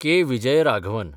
K. Vijayaraghavan